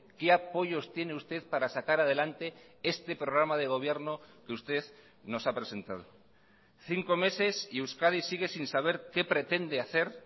qué apoyos tiene usted para sacar adelante este programa de gobierno que usted nos ha presentado cinco meses y euskadi sigue sin saber qué pretende hacer